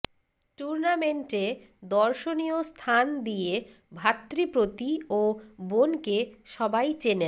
টুর্নামেন্টে দর্শনীয় স্থান দিয়ে ভ্রাতৃপ্রতি ও বোনকে সবাই চেনেন